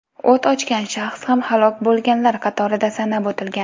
O‘t ochgan shaxs ham halok bo‘lganlar qatorida sanab o‘tilgan.